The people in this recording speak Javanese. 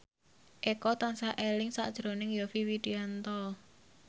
Eko tansah eling sakjroning Yovie Widianto